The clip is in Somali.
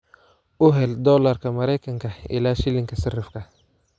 u hel dollarka Maraykanka ilaa shilinka sarifka